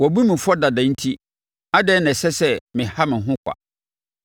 Woabu me fɔ dada enti, adɛn na ɛsɛ sɛ meha me ho kwa?